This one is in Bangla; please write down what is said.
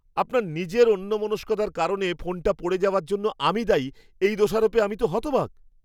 আপনার নিজের অন্যমনস্কতার কারণে ফোনটা পড়ে যাওয়ার জন্য আমি দায়ী, এই দোষারোপে আমি তো হতবাক!